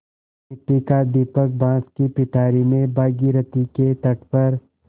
मिट्टी का दीपक बाँस की पिटारी में भागीरथी के तट पर